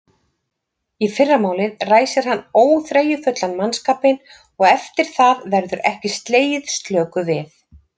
Í fyrramálið ræsir hann óþreyjufullan mannskapinn og eftir það verður ekki slegið slöku við!